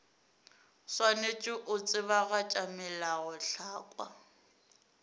o swanetše go tsebagatša melaotlhakwa